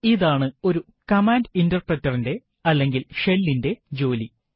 ഇതാണ് ഒരു command Interpreter ന്റെ അല്ലെങ്കിൽ ഷെല്ലിന്റെ ജോലി